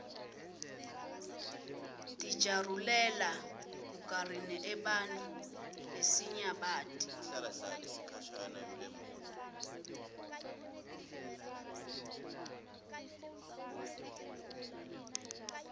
dijarulela burqarinebantfu lesinyabati